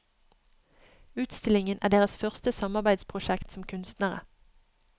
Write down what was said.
Utstillingen er deres første samarbeidsprosjekt som kunstnere.